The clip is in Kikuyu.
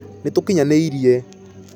Nĩtũkinyanĩire.